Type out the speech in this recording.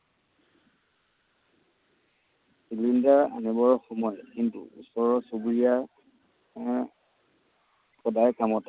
Cylinder আনিবৰ সময়ত কিন্তু ওচৰৰ চুবুৰীয়া আহ সদায় কামত আহে।